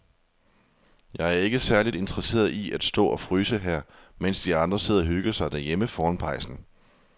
Jeg er ikke særlig interesseret i at stå og fryse her, mens de andre sidder og hygger sig derhjemme foran pejsen.